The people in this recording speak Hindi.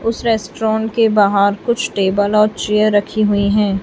उसे रेस्टोराॅन के बाहर कुछ टेबल और चेयर रखी हुईं हैं।